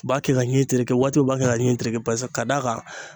U b'a kɛ ka ɲin tereke waati u b'a kɛ ka ɲin tereke pasa k'a d'a kan